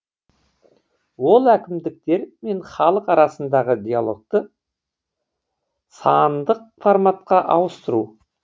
ол әкімдіктер мен халық арасындағы диалогты сандық форматқа ауыстыру